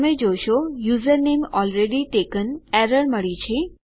તમે જોશો કે યુઝરનેમ એલરેડી ટેકન એરર મળી છે